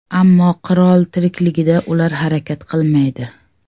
Ammo qirol tirikligida ular harakat qilmaydi.